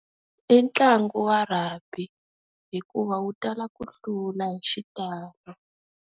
I ntlangu wa rugby, hikuva wu tala ku hlula hi xitalo.